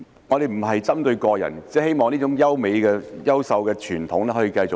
我不是針對個人，只是希望這種優秀的傳統可以延續下去。